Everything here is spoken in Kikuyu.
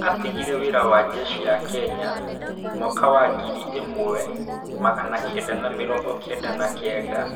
Atigire wĩra wa njeshi ya kenya mwaka wa ngiri imwe magana kenda ma mirongo kenda na kenda.